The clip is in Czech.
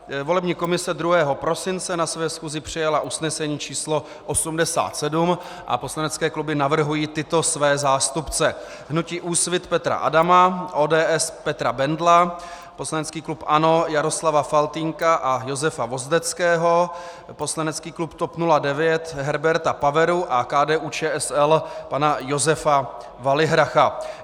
Volební komise 2. prosince na své schůzi přijala usnesení číslo 87 a poslanecké kluby navrhují tyto své zástupce: hnutí Úsvit Petra Adama, ODS Petra Bendla, poslanecký klub ANO Jaroslava Faltýnka a Josefa Vozdeckého, poslanecký klub TOP 09 Herberta Paveru a KDU-ČSL pana Josefa Valihracha.